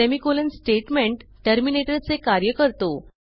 semicolon statement टर्मिनेटरचे कार्य करतो